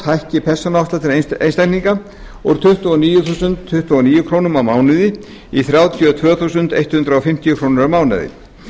hækki persónuafsláttur einstaklinga úr tuttugu og níu þúsund tuttugu og níu krónur á mánuði í þrjátíu og tvö þúsund hundrað fimmtíu krónur á mánuði